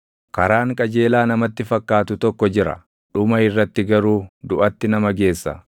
Karaan qajeelaa namatti fakkaatu tokko jira; dhuma irratti garuu duʼatti nama geessa.